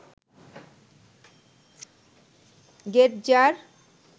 গেটজার